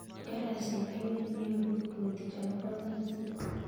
Karasich baruet neyobu Kiprotich akopo kasit